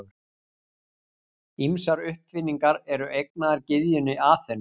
Ýmsar uppfinningar eru eignaðar gyðjunni Aþenu.